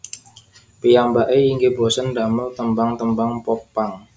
Piyambake inggih bosèn damel tembang tembang Pop punk